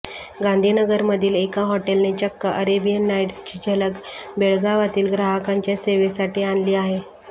गांधीनगरमधील एका हॉटेलने चक्क अरेबियन नाईट्सची झलक बेळगावातील ग्राहकांच्या सेवेसाठी आणली आहे